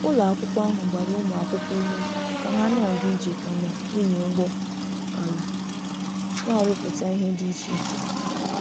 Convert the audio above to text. Ụlọ akwụkwọ ahụ gbara ụmụ akwụkwọ ume ka ha na-aga ije kama ịnya ụgbọ ala, na-arụpụta ihe dị iche iche.